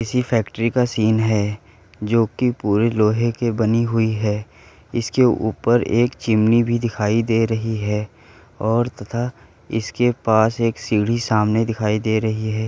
किसी फैक्ट्री का सीन है जो कि पूरी लोहे की बनी हुई है। इसके ऊपर एक चिमनी भी दिखाई दे रही है और तथा इसके पास एक सीढी सामने दिखाई दे रही है।